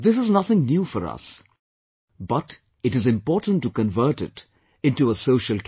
This is nothing new for us, but it is important to convert it into a social character